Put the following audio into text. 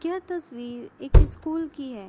यह तस्वीर एक स्कूल की है।